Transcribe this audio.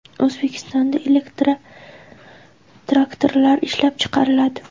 O‘zbekistonda elektrotraktorlar ishlab chiqariladi.